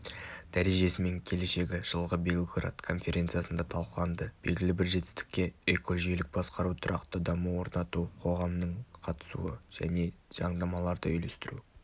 дәрежесі мен келешегі жылғы белград конференциясында талқыланды белгілі бір жетістікке экожүйелік басқару тұрақты даму орнату қоғамның қатысуы және заңнамаларды үйлестіру